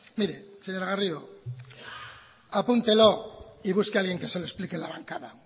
mire señora garrido apúntelo y busque a alguien que se lo explique en la bancada